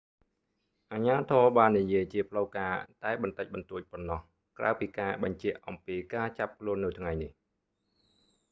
អាជ្ញាធរបាននិយាយជាផ្លូវការតែបន្តិចបន្តួចប៉ុណ្ណោះ ក្រៅពីការបញ្ជាក់អំពីការចាប់ខ្លួននៅថ្ងៃនេះ